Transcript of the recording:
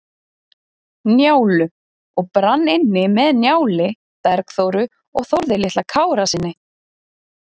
Njálu og brann inni með Njáli, Bergþóru og Þórði litla Kárasyni.